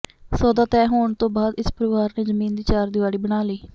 ਸੌਦਾ ਤੈਅ ਹੋਣ ਤੋਂ ਬਾਅਦ ਇਸ ਪਰਿਵਾਰ ਨੇ ਜ਼ਮੀਨ ਦੀ ਚਾਰ ਦਿਵਾਰੀ ਬਣਾ ਲਈ